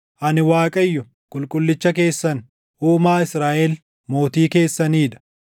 Ani Waaqayyo, Qulqullicha keessan, Uumaa Israaʼel, Mootii keessanii dha.”